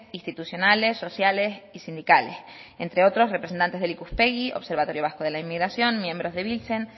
institucionales sociales y sindicales entre otros representantes del ikuspegi observatorio vasco de la inmigración miembros de biltzen